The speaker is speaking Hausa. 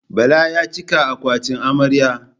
Bala ya cika akwatin amarya.